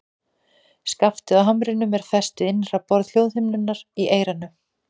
Skaftið á hamrinum er fest við innra borð hljóðhimnunnar í eyranu.